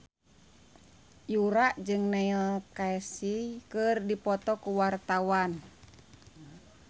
Yura jeung Neil Casey keur dipoto ku wartawan